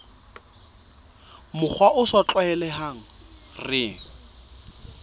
mokgwa o sa tlwaelehang re